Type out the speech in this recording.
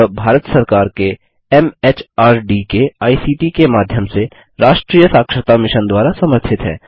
यह भारत सरकार के एमएचआरडी के आईसीटी के माध्यम से राष्ट्रीय साक्षरता मिशन द्वारा समर्थित है